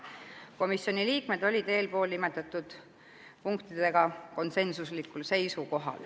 Komisjoni liikmed olid eelnimetatud punktidega konsensuslikult nõus.